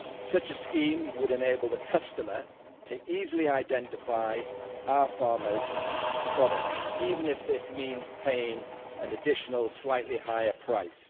Such a scheme would enable the customer to easily identify our farmers' products, even if this means paying an additional, slightly higher, price.